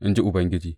In ji Ubangiji.